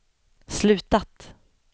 slutat